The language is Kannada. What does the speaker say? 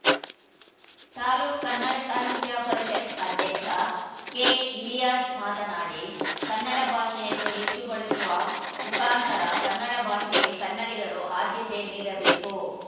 ತಾಲೂಕ್ ಕನ್ನಡ ಸಾಹಿತ್ಯ ಪರಿಷತ್ತು ಅಧ್ಯಕ್ಷ ಕೆಇಲಿಯಾಸ್‌ ಮಾತನಾಡಿ ಕನ್ನಡ ಭಾಷೆಯನ್ನು ಹೆಚ್ಚು ಬಳಸುವ ಮುಖಾಂತರ ಕನ್ನಡ ಭಾಷೆಗೆ ಕನ್ನಿಡಿಗರು ಆದ್ಯತೆ ನೀಡಬೇಕು